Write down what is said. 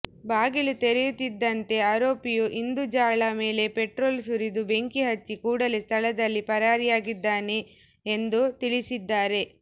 ಬಾಗಿಲು ತೆರೆಯುತ್ತಿದ್ದಂತೆ ಆರೋಪಿಯು ಇಂದುಜಾಳ ಮೇಲೆ ಪೆಟ್ರೋಲ್ ಸುರಿದು ಬೆಂಕಿ ಹಚ್ಚಿ ಕೂಡಲೇ ಸ್ಥಳದಿಂದ ಪರಾರಿಯಾಗಿದ್ದಾನೆ ಎಂದು ತಿಳಿಸಿದ್ದಾರೆ